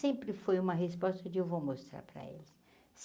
Sempre foi uma resposta um dia eu vou mostrar para eles.